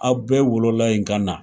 Aw bɛɛ wolola in ka na